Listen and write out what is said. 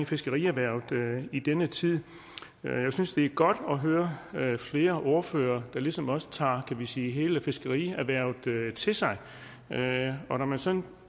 fiskerierhvervet i denne tid jeg synes at det er godt at høre flere ordførere der ligesom også tager hvad kan man sige hele fiskerierhvervet til sig og når man sådan